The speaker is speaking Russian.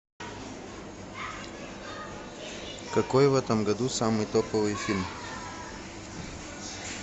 какой в этом году самый топовый фильм